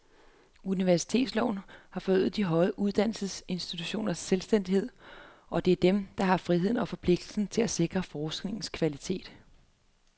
Universitetsloven har forøget de højere uddannelsesinstitutioners selvstændighed, og det er dem, der har friheden og forpligtelsen til at sikre forskningens kvalitet.